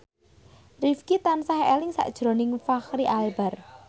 Rifqi tansah eling sakjroning Fachri Albar